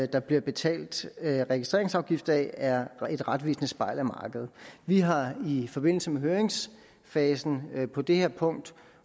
der bliver betalt registreringsafgift af er et retvisende spejl af markedet vi har i forbindelse med høringsfasen på det her punkt